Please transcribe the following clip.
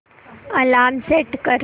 alarm set कर